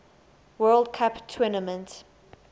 world cup tournament